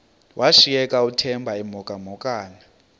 washiyeka uthemba emhokamhokana